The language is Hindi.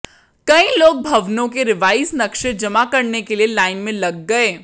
कई लोग भवनों के रिवाइज नक्शे जमा करने के लिए लाइन में लग गए